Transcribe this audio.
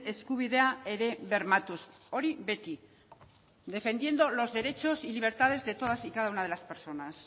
eskubidea ere bermatuz hori beti defendiendo los derechos y libertades de todas y cada una de las personas